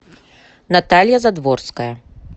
наталья задворская